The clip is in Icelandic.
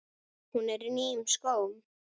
Hún er í nýjum skóm.